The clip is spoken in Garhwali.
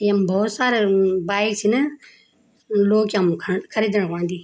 येम भौत सारा बाइक छिन यी लोग यम खण ख़रीदण ख्वण अन्दी।